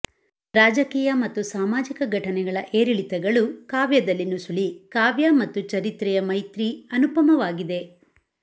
ರಾಜಕೀಯ ಮತ್ತು ಸಾಮಾಜಿಕ ಘಟನೆಗಳ ಏರಿಳಿತಗಳು ಕಾವ್ಯದಲ್ಲಿ ನುಸುಳೀ ಕಾವ್ಯ ಮತ್ತು ಚರಿತ್ರೆಯ ಮೈತ್ರಿ ಅನುಪಮವಾಗಿದೆ